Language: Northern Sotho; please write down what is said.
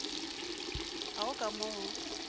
ga go ka mo o